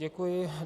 Děkuji.